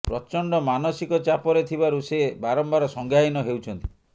ପ୍ରଚଣ୍ଡ ମାନସିକ ଚାପରେ ଥିବାରୁ ସେ ବାରମ୍ବାର ସଂଜ୍ଞାହୀନ ହେଉଛନ୍ତି